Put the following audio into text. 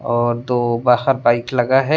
और दो बाहर बाइक लगा है।